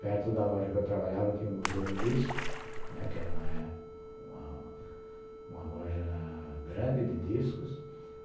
Perto da loja que eu trabalhava tinha o Museu do Disco, né, que era uma uma loja grande de discos.